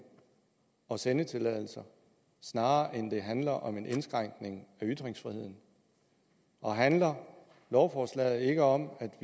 og sendetilladelser snarere end det handler om en indskrænkning af ytringsfriheden og handler lovforslaget ikke om at